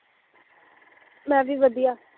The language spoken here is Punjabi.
ਮੈਂ ਵੀ ਵਧੀਆ